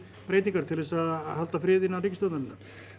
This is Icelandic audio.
breytingar til þess að halda friðinn innan ríkisstjórnarinnar nei